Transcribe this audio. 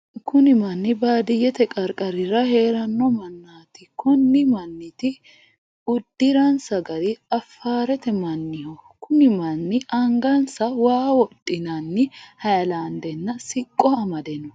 Kunni manni baadiyete qarqarira heerano manaati. Konni maniti udiransa gari afaarete manniho. Kunni manni angansa waa wodhinanni hayilaandenna siqo Amade no.